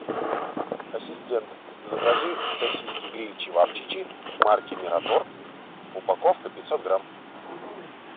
ассистент закажи сосиски гриль чевапчичи марки мираторг упаковка пятьсот грамм